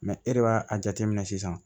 e de b'a a jateminɛ sisan